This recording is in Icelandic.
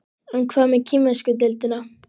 En hvað með kínversku deildina?